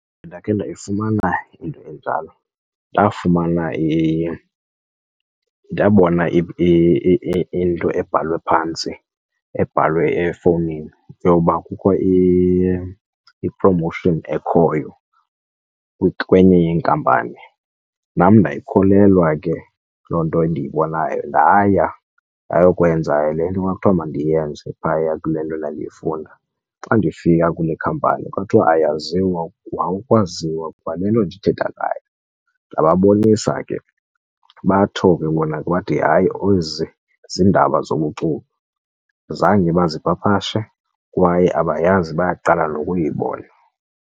Ndakhe ndayifumana into enjalo. Ndafumana ndabona into ebhalwe phantsi, ebhalwe efowunini yoba kukho i-promotion ekhoyo kwenye inkampani. Nam ndayikholelwa ke loo nto endiyibonayo ndaaya ayokwenza le nto kwakuthiwa mandiyenze phaya kule nto ndandiyifunda. Xa ndifika kule khampani kwathiwa ayaziwa kwaukwaziwa kwale nto ndithetha ngayo. Ndababonisa ke batsho ke bona bathi, hayi, ezi ziindaba zobuxoki zange bazipapashe kwaye abayazi bayaqala nokuyibona.